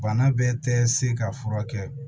Bana bɛɛ tɛ se ka furakɛ